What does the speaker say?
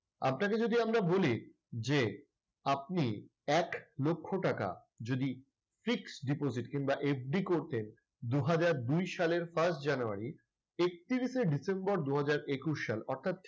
আপনাকে যদি আমরা বলি যে, আপনি এক লক্ষ টাকা যদি fixed deposit কিংবা FD করতে দুই হাজার দুই সালের first জানুয়ারি একত্রিশে ডিসেম্বর দুই হাজার একুশ সাল অর্থাৎ